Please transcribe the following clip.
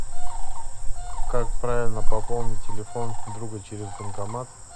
как правильно пополнить телефон друга через банкомат